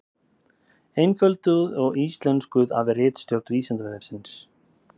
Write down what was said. Einfölduð og íslenskuð af ritstjórn Vísindavefsins.